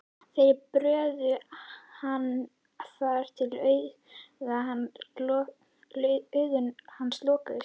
Þeir börðu hann þar til augu hans lokuðust.